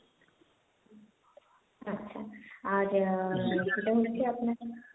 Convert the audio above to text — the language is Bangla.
আচ্ছা আর সেটা হচ্ছে আপনাকে,